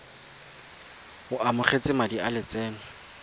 o amogetse madi a lotseno